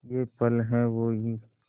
ये पल हैं वो ही